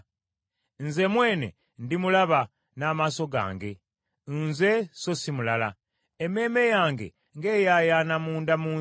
nze mwene ndimulaba, n’amaaso gange, Nze, so si mulala. Emmeeme yange ng’eyaayaana munda mu nze!